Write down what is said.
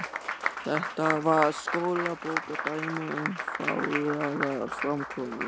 Þetta var skólabókardæmi um fágaða framkomu.